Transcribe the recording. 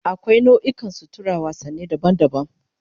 Akwai nau'ikan suturar wasanni daban-daban